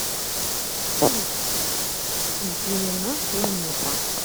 салют зелена планета